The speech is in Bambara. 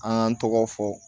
An y'an tɔgɔ fɔ